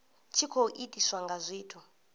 tshi khou itiswa nga zwithu